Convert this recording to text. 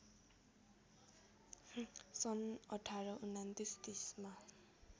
सन् १८२९ ३० मा